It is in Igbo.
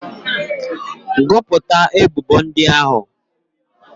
Gụpụta ebubo ndị ahụ!